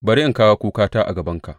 Bari in kawo kukata a gabanka.